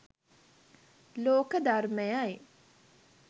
ලෝක ධර්මයයයි.